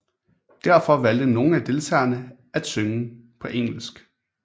Derfor valgte nogle af deltagerne af synge på engelsk